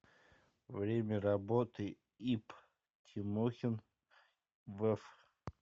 время работы ип тимохин вф